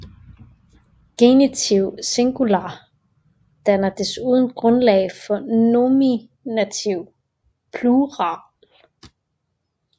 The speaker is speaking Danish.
Genitiv singular danner desuden grundlag for nominativ plural